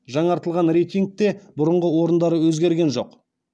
жаңартылған рейтингте бұрынғы орындары өзгерген жоқ